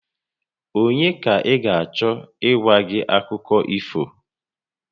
Ònye ka ị ga-achọ ịgwa gị akụkọ ifo?